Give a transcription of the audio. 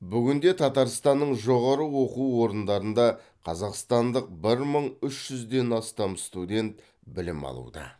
бүгінде татарстанның жоғары оқу орындарында қазақстандық бір мың үш жүзден астам студент білім алуда